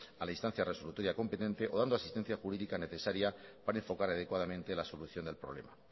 a la instancia resolutoria competente o dando asistencia jurídica necesaria para enfocar adecuadamente la solución del problema